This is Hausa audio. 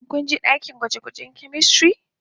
Shin ku je dakin gwaje-gwajen " chemistry"